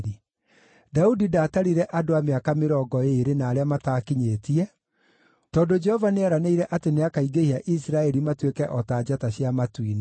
Daudi ndaatarire andũ a mĩaka mĩrongo ĩĩrĩ na arĩa mataakinyĩtie, tondũ Jehova nĩeranĩire atĩ nĩakaingĩhia Isiraeli matuĩke o ta njata cia matu-inĩ.